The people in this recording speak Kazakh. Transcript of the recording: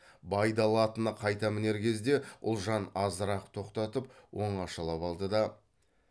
байдалы атына қайта мінер кезде ұлжан азырақ тоқтатып оңашалап алды да